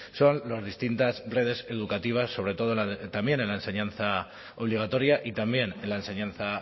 son las distintas redes educativas sobre todo también en la enseñanza obligatoria y también en la enseñanza